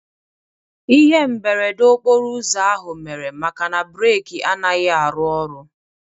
Ihe mberede okporouzo ahụ mere maka na breki anaghị arụ oru